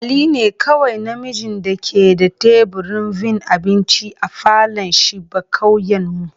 Ali ne kowai na mijin da ke da taburin vin abinci a falon shiba'kauyen mu.